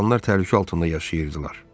İnsanlar təhlükə altında yaşayırdılar.